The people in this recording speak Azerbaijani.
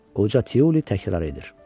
Qoca Tiuli təkrar edir.